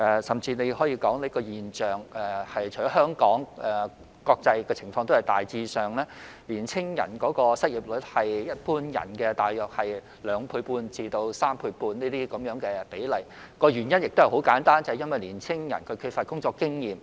甚至可以說這個現象除在香港出現外，國際上的情況也大致相同，年青人失業率是一般人大約兩倍半至三倍半，原因很簡單，就是因為年青人缺乏工作經驗。